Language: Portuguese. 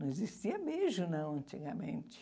Não existia beijo, não, antigamente.